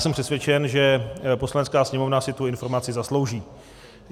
Jsem přesvědčen, že Poslanecká sněmovna si tu informaci zaslouží.